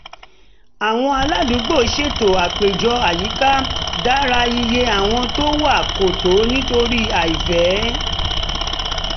àwọn aládùúgbò ṣètò àpéjọ àyíká dára iye àwọn tó wá kò tó nítorí àìfẹ́